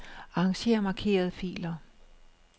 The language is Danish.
Arranger markerede filer.